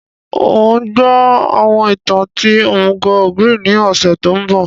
N o gbọ àwọn ìtàn ti òmùgò ogre ni ọ̀ṣẹ̀ to nbọ